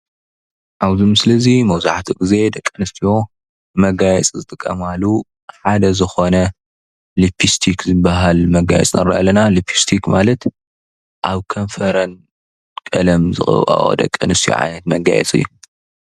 አብ ምስሊ እዚ መብዛሕትኡ ግዜ ደቂ አንስትዮ መጋየፂ ዝጥቀማሉ ሓደ ዝኾነ ሊፕስቲክ ዝበሃል መጋየፂ ንርኢ አለና። ሊፕስቲክ ማለት አብ ከንፈረን ቀለም ዘቀብአኦ ደቂ አንስትዮ ዓይነት መጋየፂ እዩ።